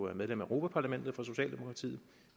er medlem af europa parlamentet for socialdemokratiet